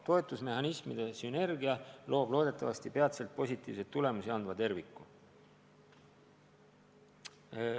Toetusmehhanismide sünergia loob loodetavasti peatselt positiivseid tulemusi andva terviku.